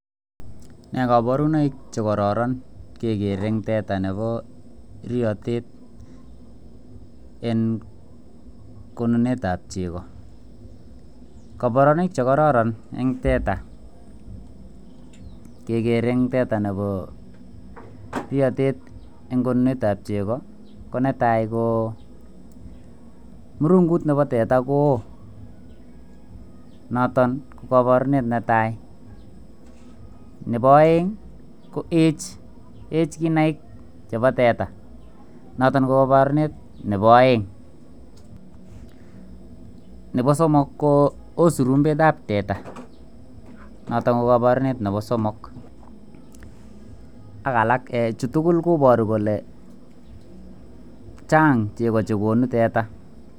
Nee koborunoik chekororon kekeree eng tetaa eng riotet eng konunetap chekoo koborunoik ap tetaa chekororon kekeree eng tetaako netaai Koo murungut neboo tetaa ko ooh neboeng Koo ech kinaik cheboi teta nebo somok Koo oo surumbet ap teta koboruu kolee chang chegoo chekonuuteta